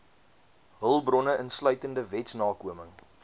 hulpbronne insluitende wetsnakoming